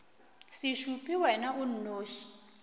se šupe wena o nnoši